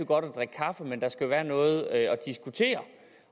godt at drikke kaffe men at der skal være noget at diskutere